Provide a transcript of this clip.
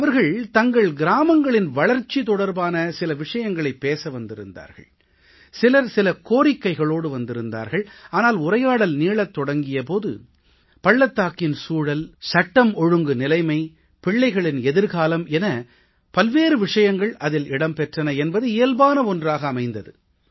அவர்கள் தங்கள் கிராமங்களின் வளர்ச்சி தொடர்பான சில விஷயங்களைப் பேச வந்திருந்தார்கள் சிலர் சில கோரிக்கைகளோடு வந்திருந்தார்கள் ஆனால் உரையாடல் நீளத் தொடங்கிய போது பள்ளத்தாக்கின் சூழல் சட்டம் ஒழுங்கு நிலைமை பிள்ளைகளின் எதிர்காலம் என பல்வேறு விஷயங்கள் அதில் இடம் பெற்றன என்பது இயல்பான ஒன்றாக அமைந்தது